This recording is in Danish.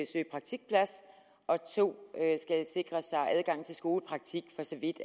søge praktikplads og 2 skal sikre sig adgang til skolepraktik for så vidt